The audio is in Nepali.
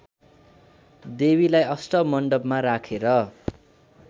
देवीलाई अष्टमण्डपमा राखेर